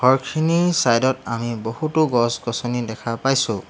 খিনি চাইড ত আমি বহুতো গছ-গছনি দেখা পাইছোঁ।